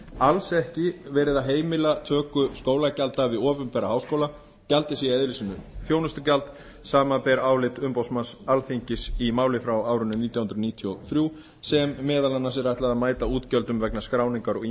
alls ekki verið að heimila töku skólagjalda við opinbera háskóla gjaldið sé í eðli sínu þjónustugjald samanber álit umboðsmanns alþingis í máli frá árinu nítján hundruð níutíu og þrjú sem meðal annars er ætlað að mæta útgjöldum vegna skráningar og ýmiss